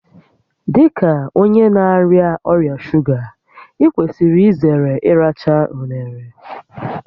Dị ka onye na-arịa ọrịa shuga, ị kwesịrị izere ịracha unere